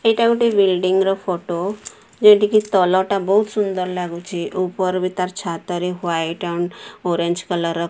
ଏଇଟା ଗୋଟେ ବିଲଡିଂ ର ଫଟୋ ଯୋଉଠିକି ତଳ ଟା ବହୁତ ସୁନ୍ଦର ଲାଗୁଚି ଉପର ବି ତାର ଛାତରେ ହ୍ୱାଇଟ୍ ଆଣ୍ଡ ଅରେଞ୍ଜ କଲର ର --